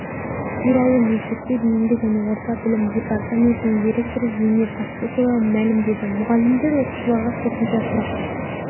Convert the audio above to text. туралы мектепке дейінгі және орта білім департаментінің директоры зейнеп мақсұтова мәлімдеді мұғалімдер оқушыларға қосымша сұрақ